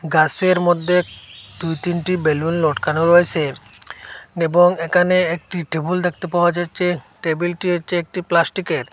গাসের মধ্যে দুই তিনটি বেলুন লটকানো রয়েসে এবং এখানে একটি টেবুল দেখতে পাওয়া যাচ্ছে টেবিলটি হচ্ছে একটি প্লাস্টিকের।